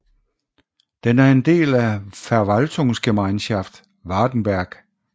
Den er en del af Verwaltungsgemeinschaft Wartenberg